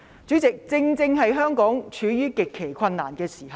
主席，香港正處於極其困難的時候。